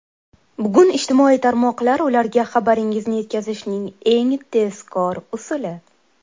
Bugun ijtimoiy tarmoqlar ularga xabaringizni yetkazishning eng tezkor usuli.